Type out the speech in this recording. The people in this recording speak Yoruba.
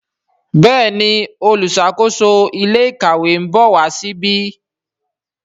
Béèni oluṣakoso ilé ìkàwé nbọ wá sí ìbi.